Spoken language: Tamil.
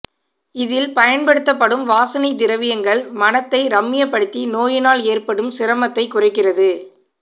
இதில் பயன்படுத்தப்படும் வாசனை திரவியங்கள் மனத்தை ரம்மியப்படுத்தி நோயினால் ஏற்படும் சிரமத்தைக் குறைக்கிறது